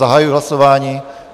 Zahajuji hlasování.